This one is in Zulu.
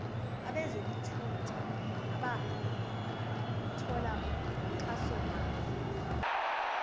abezokuthutha abathola uxhasomali